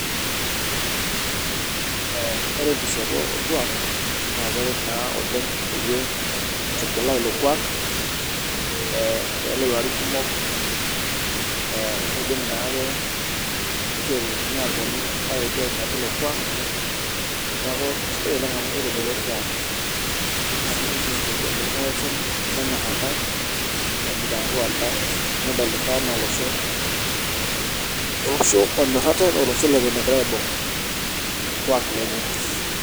Ore enkishopo orkuak na keret oleng itubulaa ilo kuak pelo larin kumok nidim ake nishori eponu ainepu ilo kuak neaky kesidai oleng smu kitobiko orkuak na kisho rkulie oshon mitsmbua ntae nedol ntae ana olosho onyor ate olosho leton egira aibung orkuak lenye